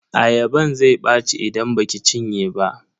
Ayaban zai ɓaci idan baki cinye ba.